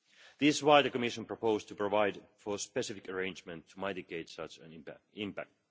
This is why the Commission proposed to provide for a specific arrangement to mitigate such an impact.